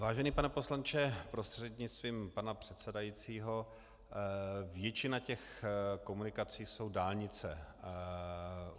Vážený pane poslanče, prostřednictvím pana předsedajícího, většina těch komunikací jsou dálnice.